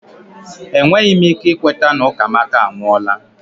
Enweghị m ike ikweta na Ukamaka anwụọla